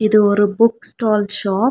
இது ஒரு book stall shop .